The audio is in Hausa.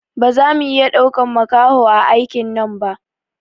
Baza mu iya ɗaukan makaho a aikin nan ba